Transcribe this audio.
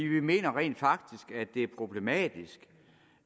vi mener rent faktisk at det er problematisk